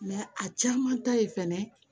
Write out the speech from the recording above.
a caman ta ye fɛnɛ